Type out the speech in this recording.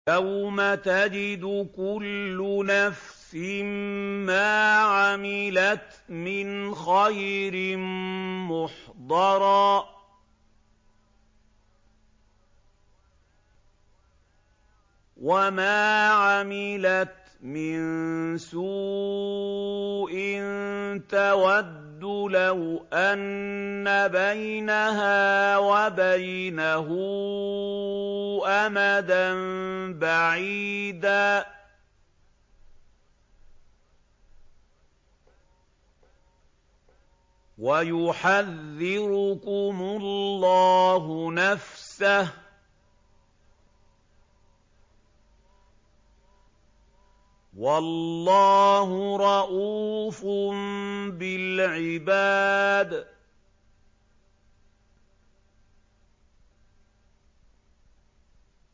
يَوْمَ تَجِدُ كُلُّ نَفْسٍ مَّا عَمِلَتْ مِنْ خَيْرٍ مُّحْضَرًا وَمَا عَمِلَتْ مِن سُوءٍ تَوَدُّ لَوْ أَنَّ بَيْنَهَا وَبَيْنَهُ أَمَدًا بَعِيدًا ۗ وَيُحَذِّرُكُمُ اللَّهُ نَفْسَهُ ۗ وَاللَّهُ رَءُوفٌ بِالْعِبَادِ